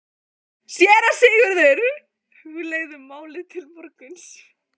SÉRA SIGURÐUR: Hugleiðum málið til morguns.